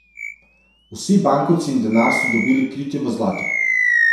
Vsi bankovci in denar so dobili kritje v zlatu.